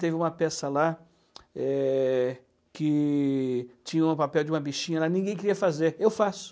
Teve uma peça lá, eh, que tinha um papel de uma bichinha lá, ninguém queria fazer, eu faço.